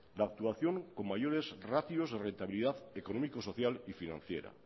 la actuación con mayores ratios de rentabilidad económico social y financiera